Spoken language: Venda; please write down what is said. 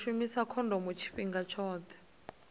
u shumisa khondomo tshifhinga tshoṱhe